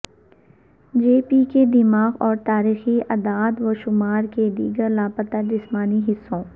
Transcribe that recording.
جے P کے دماغ اور تاریخی اعداد و شمار کے دیگر لاپتہ جسمانی حصوں